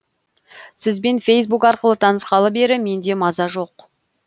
сізбен фейсбук арқылы танысқалы бері менде маза жоқ